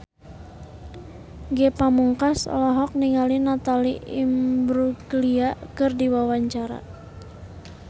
Ge Pamungkas olohok ningali Natalie Imbruglia keur diwawancara